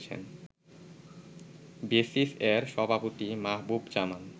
বেসিস-এর সভাপতি মাহবুব জামান